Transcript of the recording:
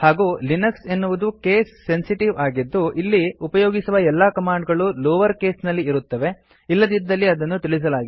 ಹಾಗೂ ಲಿನಕ್ಸ್ ಎನ್ನುವುದು case sensitive ಆಗಿದ್ದು ಇಲ್ಲಿ ಉಪಯೋಗಿಸುವ ಎಲ್ಲಾ ಕಮಾಂಡ್ ಗಳೂ ಲೋವರ್ ಕೇಸ್ ನಲ್ಲಿ ಇರುತ್ತವೆ ಇಲ್ಲದಿದ್ದಲ್ಲಿ ಅದನ್ನು ತಿಳಿಸಲಾಗಿದೆ